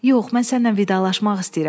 Yox, mən sənlə vidalaşmaq istəyirəm.